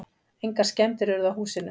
Engar skemmdir urðu á húsinu.